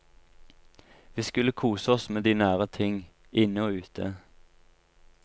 Vi skulle kose oss med de nære ting, inne og ute.